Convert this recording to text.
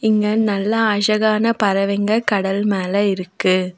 இங்க நல்ல அஷகான பறவைங்க கடல் மேல இருக்கு.